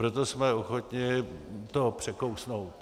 Proto jsme ochotni to překousnout.